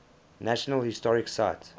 national historic site